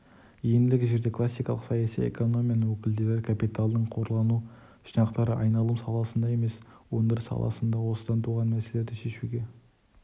ендігі жерде классикалық саяси экономияның өкілдері капиталдың қорлану жинақтары айналым саласында емес өндіріс саласында осыдан туған мәселелерді шешуге